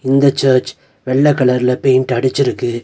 இந்த சர்ச் வெள்ள கலர்ல பெயிண்ட் அடிச்சுருக்கு.